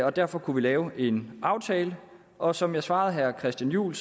og derfor kunne vi lave en aftale og som jeg svarede herre christian juhl